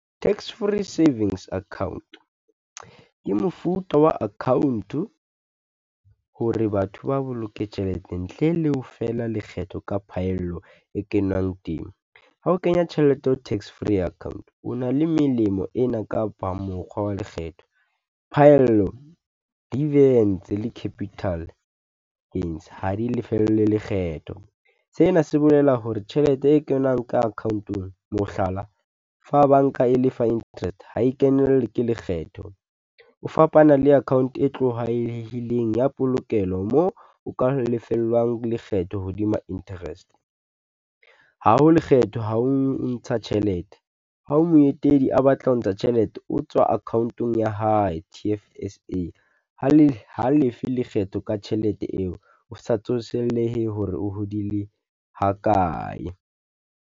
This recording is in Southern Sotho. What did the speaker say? Tax free savings account, ke mofuta wa account-o, hore batho ba boloke tjhelete ntle le ho fela lekgetho ka phaello e kenwang temo. Ha o kenya tjhelete ho tax free account, o na le melemo ena kapa mokgwa wa lekgetho. Phaello deviance le capital gains ha di lefellwe lekgetho. Sena se bolela hore tjhelete e kenang ka account-ong mohlala, fa banka e lefa interest ha e kenelle ke lekgetho, o fapana le account e tlwaelehileng ya polokelo moo o ka lefellwang lekgetho hodima interest. Ha ho lekgetho ha o ntsha tjhelete, ha moetelli a batla ho ntsha tjhelete, o tswa account-ong ya hae, T_F_S_A. Ha le, ha lefe lekgetho ka tjhelete eo, o sa tsosellehe hore o hodile ha kae.